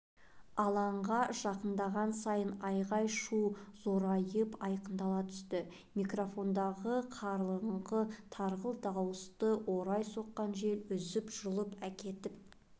алаңға жақындаған сайын айғай-шу зорайып айқындала түсті микрофондағы қарлығыңқы тарғыл дауысты орай соққан жел үзіп-жұлып әкетіп